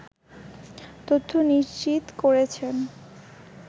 তথ্য নিশ্চিত করেছেন